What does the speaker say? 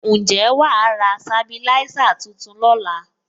Ǹjẹ́ wàá ra sabilisa tuntun lóla?